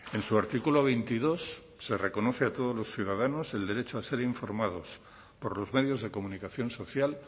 en su artículo veintidós se reconoce a todos los ciudadanos el derecho a ser informados por los medios de comunicación social